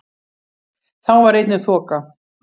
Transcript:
Þá var einnig þoka